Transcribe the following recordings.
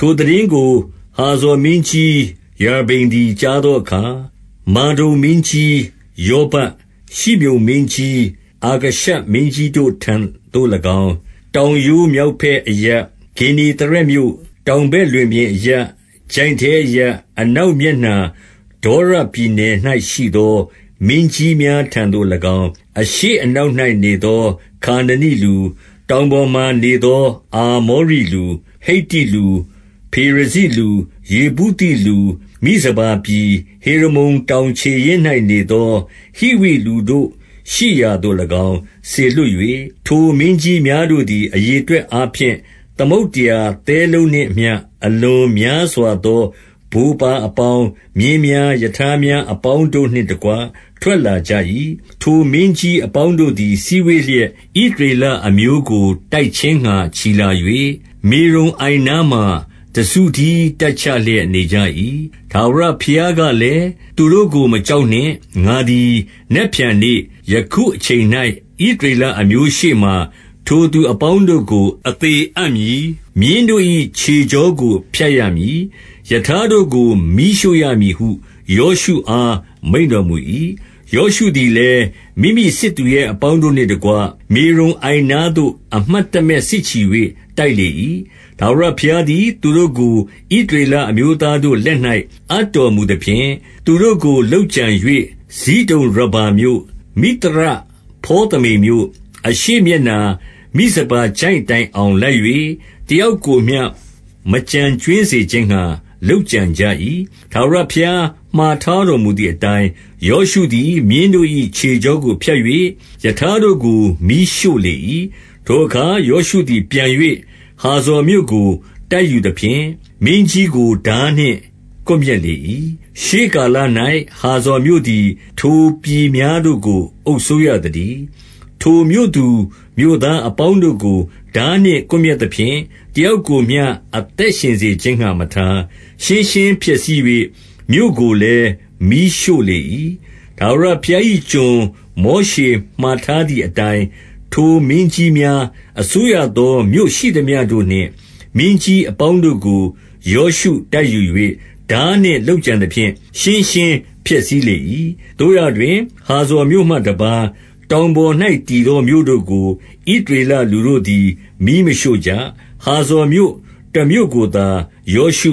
ထိုသိတင်းကို ဟာဇော်မင်းကြီးယာဘိန်သည် ကြားသောအခါ၊ မာဒုန်မင်းကြီးယောဗပ်၊ ရှိမြုန်မင်းကြီး အာခရှပ်မင်းကြီးတို့ထံသို့၎င်း၊ 2 တောင်ရိုး မြောက်ဘက်အရပ်၊ ဂင်္နေသရက်မြို့ တောင်ဘက်လွင်ပြင်အရပ်၊ ချိုင့်ထဲအရပ်၊ အနောက်မျက် နှာ ဒေါရပြည်နယ်၌ရှိသော မင်းကြီးများထံသို့၎င်း၊ 3 အရှေ့အနောက်၌နေသော ခါနနိလူ၊ တောင် ပေါ်မှာနေသော အာမောရိလူ၊ ဟိတ္တိလူ၊ ဖေရဇိလူ၊ ယေဗု သိလူ၊ မိဇပါပြည်၊ ဟေရမုန်တောင်ခြေရင်း၌နေသော ဟိဝိလူတို့ရှိရာသို့၎င်း စေလွှတ်၍၊ 4 ထိုမင်းကြီးများတို့သည် အရေအတွက်အားဖြင့် သမုဒ္ဒရာသဲလုံးနှင့်အမျှ အလွန်များစွာသော ဗိုလ်ပါ အပေါင်း၊ မြင်းများ၊ ရထားများအပေါင်းတို့နှင့်တကွ ထွက် လာကြ၏။ 5 ထိုမင်းကြီးအပေါင်းတို့သည် စည်းဝေးလျက်၊ ဣသရေလအမျိုးကို တိုက်ခြင်းငှါ ချီလာ၍၊ မေရုံအိုင်နား မှာ တစုတည်း တပ်ချလျက်နေကြ၏။ 6 ထာဝရဘုရားကလည်း၊ သူတို့ကို မကြောက်နှင့်။ ငါသည် နက်ဖြန်နေ့ ယခုအချိန်၌ ဣသရေလအမျိုးရှေ့ မှာ၊ ထိုသူအပေါင်းတို့ကို အသေအပ်မည်။ မြင်းတို့၏ ခြေကြောကို ဖြတ်ရမည်။ ရထားတို့ကို မီးရှို့ရမည်ဟု ယောရှုအား မိန့်တော်မူ၏။ 7 ယောရှုသည်လည်း၊ မိမိစစ်သူရဲအပေါင်းတို့နှင့် တကွ မေရုံအိုင်နားသို့ အမှတ်တမဲ့ စစ်ချီ၍ တိုက်လေ၏။ 8 ထာဝရဘုရားသည် သူတို့ကို ဣသရေလ အမျိုး သားတို့လက်၌ အပ်တော်မူသဖြင့်၊ သူတို့ကို လုပ်ကြံ၍ ဇိဒုန်ရဗ္ဗာမြို့၊ မိသရဖေါသမိမ်မြို့ အရှေ့မျက်နှာ မိဇပါ ချိုင့်တိုင်အောင် လိုက်၍ တယောက်ကိုမျှ မကျန်ကြွင်းစေ ခြင်းငှါ လုပ်ကြံကြ၏။ 9 ထာဝရဘုရား မှာထားတော်မူသည်အတိုင်း၊ ယောရှုသည် မြင်းတို့၏ ခြေကြောကို ဖြတ်၍ ရထားတို့ကို မီးရှို့လေ၏။ 10 ထိုအခါ ယောရှုသည် ပြန်၍ ဟာဇော်မြို့ကို တိုက်ယူသဖြင့်၊ မင်းကြီးကို ထားနှင့်ကွပ်မျက်လေ၏။ ရှေးကာလ၌ ဟာဇော်မြို့သည် ထိုပြည်များတို့ကို အုပ်စိုးရ သတည်း။ 11 ထိုမြို့သူမြို့သားအပေါင်းတို့ကို ထားနှင့်ကွပ် မျက်သဖြင့် တယောက်ကိုမျှ အသက်ရှင်စေခြင်းငှါမထား။ ရှင်းရှင်းဖျက်ဆီး၍ မြို့ကိုလည်း မီးရှို့လေ၏။ 12 ထာဝရဘုရား၏ကျွန် မောရှေမှာထားသည် အတိုင်း၊ ထိုမင်းကြီးများအစိုးရသော မြို့ရှိသမျှတို့နှင့် မင်းကြီးအပေါင်းတို့ကို ယောရှုတိုက်ယူ၍ ထားနှင့်လုပ်ကြံ သဖြင့် ရှင်းရှင်းဖျက်ဆီးလေ၏။ 13 သို့ရာတွင်၊ ဟာဇော်မြို့မှတပါး၊ တောင်ပေါ်၌ တည်သောမြို့တို့ကို ဣသရေလလူတို့သည် မီးမရှို့ကြ။ ဟာဇော်မြို့ တမြို့ကိုသာ ယောရှု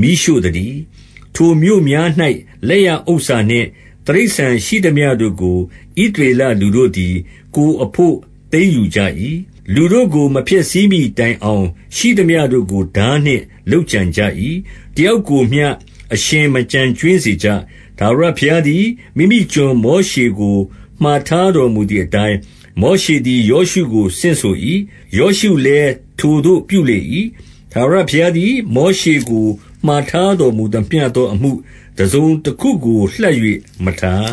မီးရှို့သတည်း။ 14 ထိုမြို့များ၌ လက်ရဥစ္စာနှင့် တိရစ္ဆာန်ရှိသမျှတို့ ကို ဣသရေလလူတို့သည် ကိုယ်အဘို့ သိမ်းယူကြ၏။ လူတို့ကို မဖျက်ဆီးမှီတိုင်အောင် ရှိသမျှတို့ကို ထားနှင့် လုပ်ကြံကြ၏။ တယောက်ကိုမျှ အရှင်မကျန်ကြွင်းစေကြ။ 15 ထာဝရဘုရားသည် မိမိကျွန်မောရှေကို မှာထား တော်မူသည်အတိုင်း၊ မောရှေသည် ယောရှုကို ဆင့်ဆို၏။ ယောရှုလည်း ထိုသို့ ပြုလေ၏။ ထာဝရဘုရားသည် မောရှေကို မှာထားတော်မူသမျှသောအမှု တစုံတခုကို လှပ်၍မထား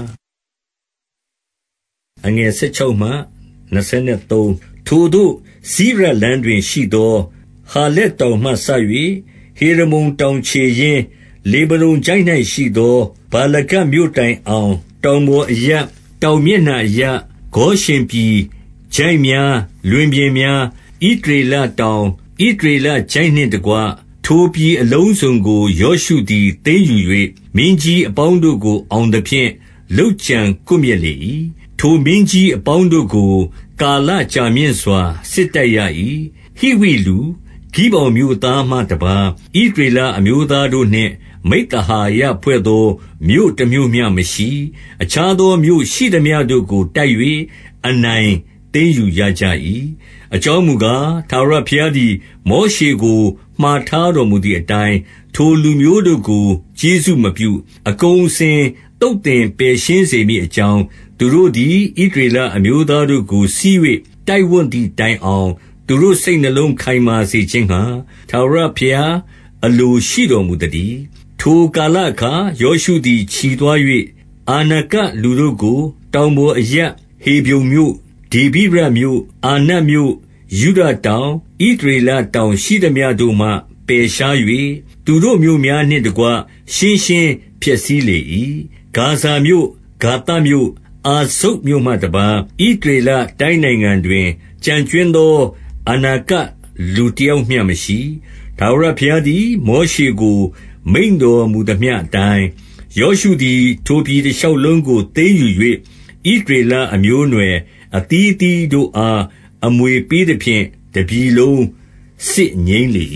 ။ 16 ထိုသို့ စိရလမ်းတွင်ရှိသော ဟာလက်တောင်မှ စ၍ ဟေရမုန်တောင်ခြေရင်း၊ 17 လေဗနုန်ချိုင့်၌ရှိသော ဗာလဂဒ်မြို့တိုင်အောင်၊ တောင်ပေါ်အရပ်၊ တောင်မျက်နှာအရပ်၊ ဂေါရှင်ပြည်၊ ချိုင့်များ၊ လွင်ပြင်များ၊ ဣသရေလတောင်၊ ဣသရေလ ချိုင့်နှင့်တကွ ထိုပြည်အလုံးစုံကို ယောရှုသည် သိမ်းယူ၍၊ မင်းကြီးအပေါင်းတို့ကို အောင်သဖြင့် လုပ်ကြံကွပ်မျက် လေ၏။ 18 ထိုမင်းကြီးအပေါင်းတို့ကို ကာလကြာမြင့်စွာ စစ် တိုက်ရ၏။ 19 ဟိဝိလူ၊ ဂိဗောင်မြို့သားမှတပါး ဣသရေလ အမျိုးသားတို့နှင့် မိဿဟာယဖွဲ့သော မြို့တမြို့မျှမရှိ။ အခြားသော မြို့ရှိသမျှတို့ကို တိုက်၍ အနိုင်သိမ်းယူရကြ ၏။ 20 အကြောင်းမူကား၊ ထာဝရဘုရားသည် မောရှေ ကို မှာထားတော်မူသည်အတိုင်း၊ ထိုလူမျိုးတို့ကို ကျေးဇူး မပြု အကုန်အစင် သုတ်သင်ပယ်ရှင်းစေမည် အကြောင်း၊ သူတို့သည် ဣသရေလအမျိုးသားတို့ကို ဆီး၍ တိုက်ဝံ့ သည်တိုင်အောင် သူတို့စိတ်နှလုံး ခိုင်မာစေခြင်းငှါ ထာဝရ ဘုရားအလိုရှိတော်မူသတည်း။ 21 ထိုကာလအခါ ယောရှုသည် ချီသွား၍၊ အာနက လူတို့ကို တောင်ပေါ်အရပ် ဟေဗြုန်မြို့၊ ဒေဗိရမြို့၊ အာ နပ်မြို့၊ ယုဒတောင်၊ ဣသရေလတောင် ရှိသမျှတို့မှ ပယ် ရှား၍၊ သူတို့မြို့များနှင့်တကွ ရှင်းရှင်းဖျက်ဆီးလေ၏။ 22 ဂါဇမြို့၊ ဂါသမြို့၊ အာဇုတ်မြို့မှတပါး၊ ဣသ ရေလတိုင်းနိုင်ငံတွင် ကျန်ကြွင်းသော အာနကလူတ ယောက်မျှမရှိ။ 23 ထာဝရဘုရားသည် မောရှေကို မိန့်တော်မူသမျှ အတိုင်း၊ ယောရှုသည် ထိုပြည်တရှောက်လုံးကို သိမ်းယူ၍ ဣသရေလအမျိုးအနွယ် အသီးသီးတို့အား အမွေပေး သဖြင့်၊ တပြည်လုံးစစ်ငြိမ်းလေ